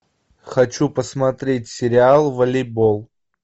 хочу посмотреть сериал волейбол